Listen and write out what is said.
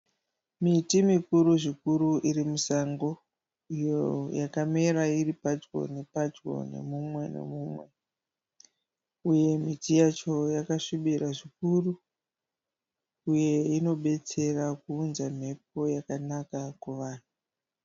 Miti mikuru zvikuru iri musango iyo yakamera iri padyo ne padyo nemumwe nemumwe uye miti yacho yakasvibira zvikuru uye inobetsera kuunza mhepo yakawanda kuvanhu